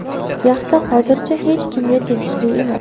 Yaxta hozircha hech kimga tegishli emas.